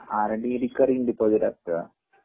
R. D. Recurring deposit असत